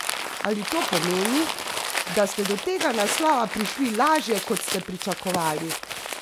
Ali to pomeni, da ste do tega naslova prišli lažje, kot ste pričakovali?